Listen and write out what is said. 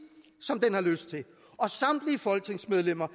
som den har lyst til og samtlige folketingsmedlemmer